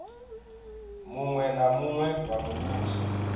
muṅwe na muṅwe wa muvhuso